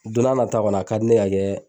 Don n'a nataa kɔni a ka di ne ye ka kɛ